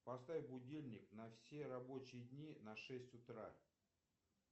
поставь будильник на все рабочие дни на шесть утра